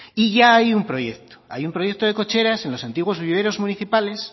y ya hay un proyecto hay un proyecto de cocheras en los antiguos viveros municipales